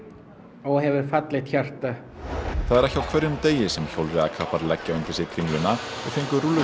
og hefur fallegt hjarta það er ekki á hverjum degi sem hjólreiðakappar leggja undir sig Kringluna og fengu